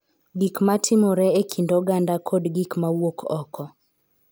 Gik ma timore e kind oganda, kod gik ma wuok oko.